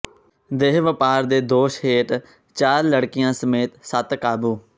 ਦੇਹ ਵਪਾਰ ਦੇ ਦੋਸ਼ ਹੇਠ ਚਾਰ ਲੜਕੀਆਂ ਸਮੇਤ ਸੱਤ ਕਾਬੂ